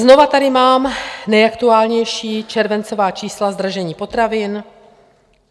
Znovu tady mám nejaktuálnější červencová čísla zdražení potravin.